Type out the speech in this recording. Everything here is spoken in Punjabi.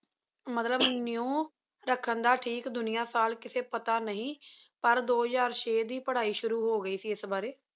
ਮਤਲਬ ਨ੍ਯੂ ਰਖਣ ਦਾ ਠੀਕ ਦੁਨਿਯਾ ਸਾਲ ਕਿਸੀ ਪਤਾ ਨਹੀ ਪਰ ਦੋ ਹਜ਼ਾਰ ਛੇ ਦੀ ਪਢ਼ਾਈ ਸ਼ੁਰੂ ਹੋ ਗਈ ਸੀ ਏਸ ਬਰੀ